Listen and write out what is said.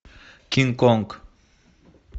кинг конг